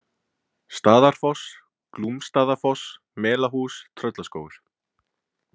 Staðarfoss, Glúmsstaðafoss, Melahús, Tröllaskógur